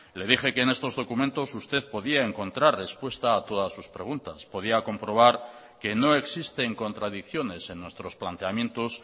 le dije que en estos documentos usted podía encontrar respuesta a todas sus preguntas podía comprobar que no existen contradicciones en nuestros planteamientos